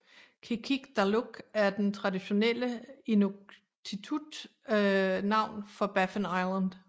Qikiqtaaluk er det traditionelle inuktitut navn for Baffin Island